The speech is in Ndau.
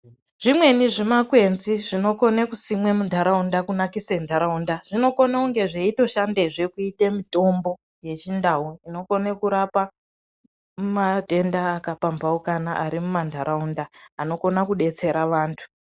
Zvimweni zvimakwenzi zvinokone kusimwe muntaraunda kunakise ntaraunda, zvinokone kunge zveitoshandezve kuite mutombo yeChiNdau, inokone kurapa matenda akapambaukana ari mumantaraunda anokona kudetsera vantu.